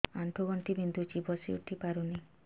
ଆଣ୍ଠୁ ଗଣ୍ଠି ବିନ୍ଧୁଛି ବସିଉଠି ପାରୁନି